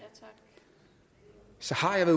har jeg